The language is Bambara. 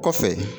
Kɔfɛ